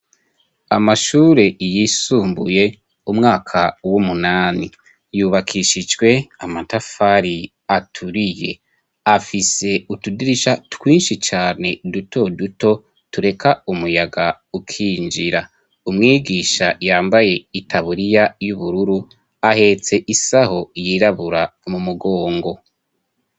Amashure yisumbuye umwaka w'umunani, yubakishijwe amatafari aturiye. Afise utudirisha twinshi cane, duto duto tureka umuyaga ukinjira. umwigisha yambaye itaburiya y'ubururu, ahetse isaho yirabura mu mugongo.